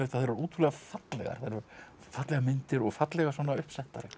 eru ótrúlega fallegar fallegar myndir og fallega uppsettar